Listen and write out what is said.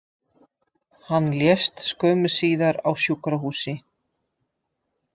Hann lést skömmu síðar á sjúkrahúsi